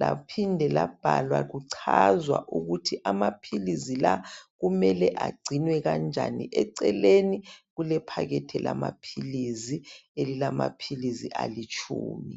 .Laphinde labhalwa kuchazwa ukuthi amaphilisi la kumele agcinwe kanjani . Eceleni kulephepha lamaphilisi elilama philisi alitshumi.